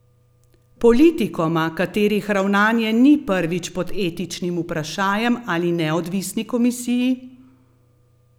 Politikoma, katerih ravnanje ni prvič pod etičnim vprašajem, ali neodvisni komisiji?